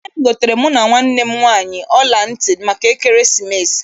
Nne m goteere mụ na nwanne m nwaanyị ọla ntị maka ekeresimesi.